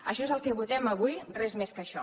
això és el que votem avui res més que això